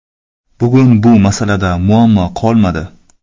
Bugun bu masalada muammo qolmadi.